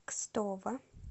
кстово